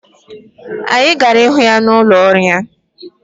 Anyị gara ịhụ ya n'ụlọ ọrụ ya.